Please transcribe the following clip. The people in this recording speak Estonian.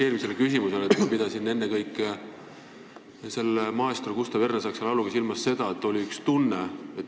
Eelmise küsimuse täpsustuseks, et ma pidasin selle maestro Gustav Ernesaksa lauluga ennekõike silmas seda, et siis oli üks tunne.